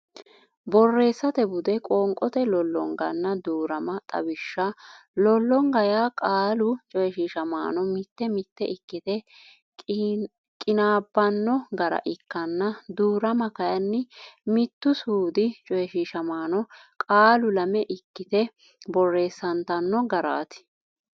Borreessate Bude Qoonqote Lollonganna Duu rama Xawishsha Lollonga yaa qaalu coyshiishamaano mitte mitte ikkite qinaabbanno gara ikkanna duu rama kayinni mittu suudi coyshiishamaano qaalu lame ikkite borreessantanno garaati.